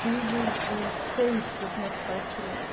filhos e seis que os meus pais criaram.